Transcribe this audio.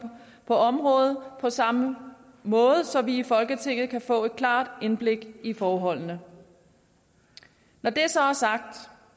på området på samme måde så vi i folketinget kan få et klart indblik i forholdene når det så er sagt